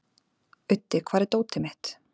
Auddi, hvar er dótið mitt?